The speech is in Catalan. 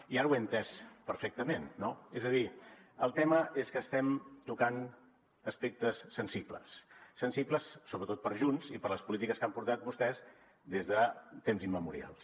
i ara ho he entès perfectament no és a dir el tema és que estem tocant aspectes sensibles sensibles sobretot per a junts i per a les polítiques que han portat vostès des de temps immemorials